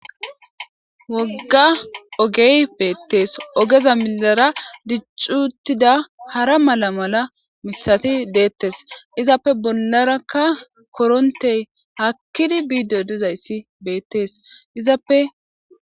Woga ogey betes ogeza milara dic'i utida hara mala mala mithati detes izappe bolaraka korontey hakidi bido dizaysi betes izape.